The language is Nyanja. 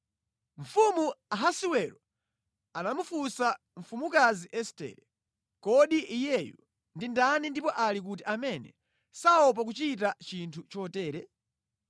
Mfumu Ahasiwero anamufunsa mfumukazi Estere, “Kodi iyeyu ndi ndani ndipo ali kuti amene saopa kuchita chinthu chotere?”